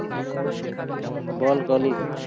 হম বল কলিন